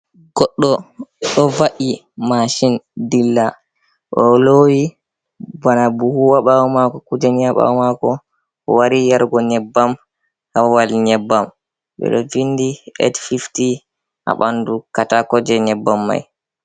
Goɗɗo ɗo va’i machine dilla olowi bana buhu ha bawo mako, kuje ni ha bawo mako owari yarugo nyebbam ha Babal nyebbam ɓeɗo vindi 850 ha ɓandu katako je nyebbam mai.